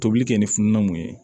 Tobili kɛ ni fununna mun ye